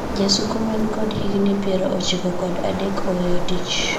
Jasuko man kod higni piero ochiko kod adek oweyo tich,